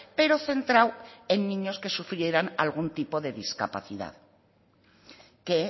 pero centrado en niños que sufrieran algún tipo de discapacidad que